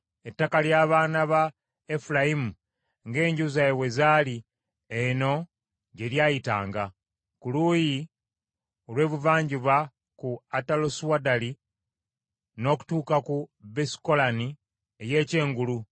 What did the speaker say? Ettaka ly’abaana ba Efulayimu ng’enju zaabwe bwe zaali eno gye lyayitanga; ku luuyi olw’ebuvanjuba ku Atalosuaddali n’okutuuka ku Besukolooni ey’Ekyengulu,